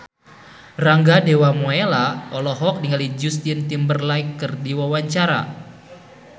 Rangga Dewamoela olohok ningali Justin Timberlake keur diwawancara